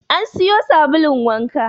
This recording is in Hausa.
An siyo sabulun wanka.